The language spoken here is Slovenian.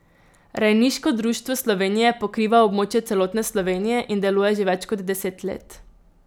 Rejniško društvo Slovenije pokriva območje celotne Slovenije in deluje že več kot deset let.